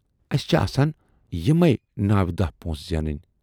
اَسہِ چھِ آسان یِمَے نَو داہ پۄنٛسہٕ زینٕنۍ۔